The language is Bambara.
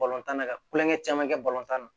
tan na ka kulonkɛ caman kɛ na